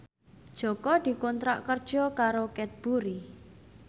Jaka dikontrak kerja karo Cadbury